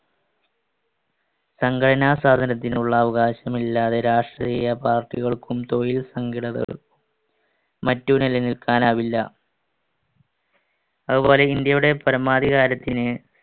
സംഘടനാസ്വാതന്ത്ര്യത്തിനുള്ള അവകാശമില്ലാതെ രാഷ്ട്രീയ party കൾക്കും തൊഴിൽ സംഘടന മറ്റു നിലനില്‍ക്കാനാവില്ല. അതുപോലെ ഇന്ത്യയുടെ പരമാധികാരത്തിന്